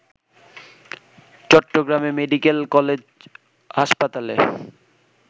চট্টগ্রামে medical college হাসপাতালে